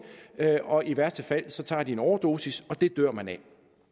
og i værste fald tager de en overdosis og det dør man af